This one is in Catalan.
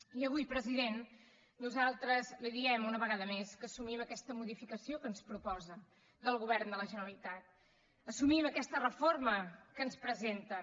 i avui president nosaltres li diem una vegada més que assumim aquesta modificació que ens proposa del govern de la generalitat assumim aquesta reforma que ens presenten